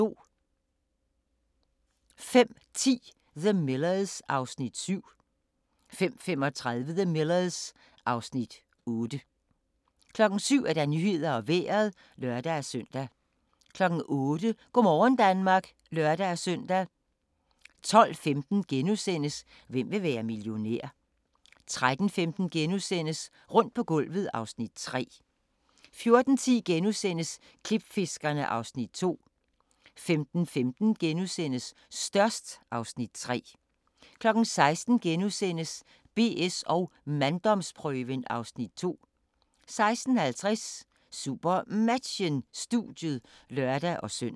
05:10: The Millers (Afs. 7) 05:35: The Millers (Afs. 8) 07:00: Nyhederne og Vejret (lør-søn) 08:00: Go' morgen Danmark (lør-søn) 12:15: Hvem vil være millionær? * 13:15: Rundt på gulvet (Afs. 3)* 14:10: Klipfiskerne (Afs. 2)* 15:15: Størst (Afs. 3)* 16:00: BS & manddomsprøven (Afs. 2)* 16:50: SuperMatchen: Studiet (lør-søn)